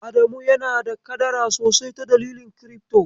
Adamu yana da kadara sosai ta dalilin kirifto.